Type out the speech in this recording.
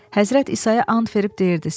Həzrət İsaya and verib deyirdi: